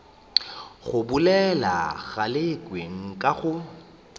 go bolela galekwe nka go